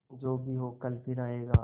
जो भी हो कल फिर आएगा